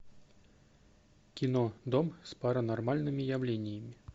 кино дом с паранормальными явлениями